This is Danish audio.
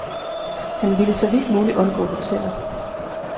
Han ville så vidt muligt undgå hoteller.